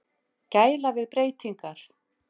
Gæla við breytingarnar.